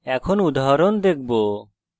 এখন আমরা একটি উদাহরণ দেখব